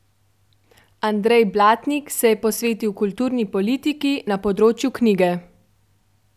Andrej Blatnik se je posvetil kulturni politiki na področju knjige.